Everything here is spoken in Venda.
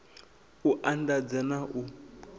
u and adza na u